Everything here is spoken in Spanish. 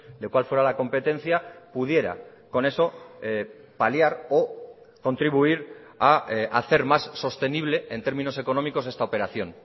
de cuál fuera la competencia pudiera con eso paliar o contribuir a hacer más sostenible en términos económicos esta operación